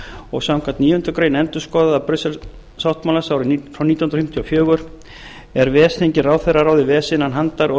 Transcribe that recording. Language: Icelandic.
og samkvæmt níundu grein endurskoðenda brussel sáttmálans frá nítján hundruð fimmtíu og fjögur er ves þingi ráðherraráði ves innan handar og